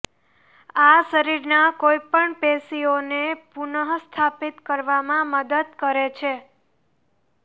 આ શરીરના કોઈપણ પેશીઓને પુનઃસ્થાપિત કરવામાં મદદ કરે છે